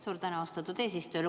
Suur tänu, austatud eesistuja!